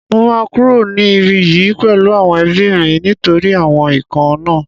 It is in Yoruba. Mo máa kúrò ní ibí yìí pẹ̀lú àwọn ẹbí mi nítorí àwọn ikán náà